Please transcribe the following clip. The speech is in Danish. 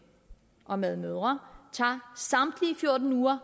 og medmødre tager samtlige fjorten uger